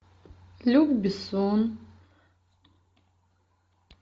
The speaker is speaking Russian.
люк бессон